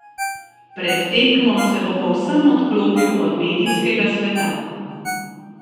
Pred tekmo se bo povsem odklopil od medijskega sveta.